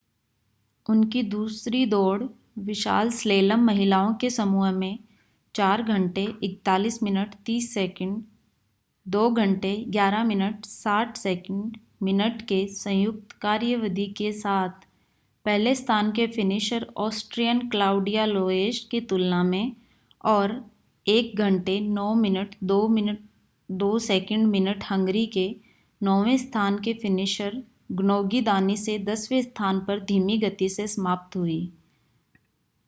उनकी दूसरी दौड़ विशाल स्लैलम महिलाओं के समूह में 4 41.30 2 11.60 मिनट के संयुक्त कार्यावधि के साथ पहले स्थान के फ़िनिशर ऑस्ट्रियन क्लाउडिया लोएश की तुलना में और 1 09.02 मिनट हंगरी के नौवें स्थान के फ़िनिशर ग्नोगी दानी से दसवें स्थान पर धीमी गति से समाप्त हुई